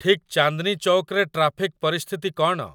ଠିକ ଚାନ୍ଦନୀ ଚୌକ ରେ ଟ୍ରାଫିକ ପରିସ୍ଥିତି କ'ଣ?